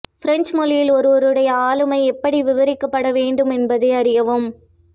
French மொழியில் ஒருவருடைய ஆளுமை எப்படி விவரிக்கப்பட வேண்டும் என்பதை அறியவும்